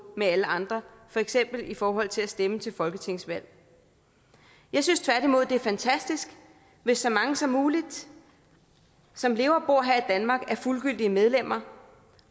med alle andre for eksempel i forhold til at stemme til folketingsvalg jeg synes tværtimod det er fantastisk hvis så mange som muligt som lever og bor her i danmark er fuldgyldige medlemmer